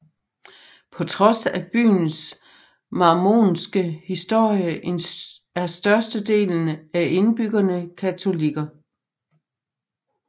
På trods af byens mormonske historie er størstedelen af indbyggerne katolikker